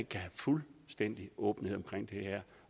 kan have fuldstændig åbenhed omkring det her